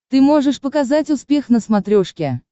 ты можешь показать успех на смотрешке